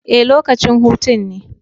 Ee, lokacin hutun ne